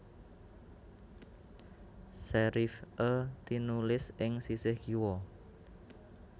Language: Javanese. Serif é tinulis ing sisih kiwa